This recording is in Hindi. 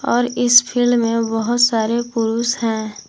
और इस फील्ड में बहुत सारे पुरुष हैं।